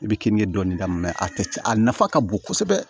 I bɛ keninke dɔɔnin k'a la a tɛ a nafa ka bon kosɛbɛ